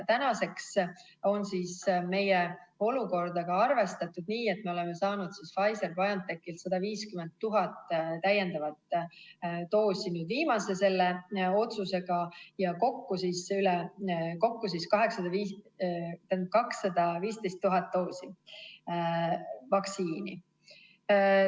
Tänaseks on meie olukorda ka arvestatud, nii et me oleme saanud Pfizer-BioNTechilt 150 000 täiendavat doosi viimase otsusega, kokku 215 000 doosi vaktsiini.